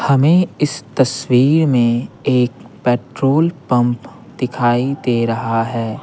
हमें इस तस्वीर में एक पेट्रोल पंप दिखाई दे रहा है।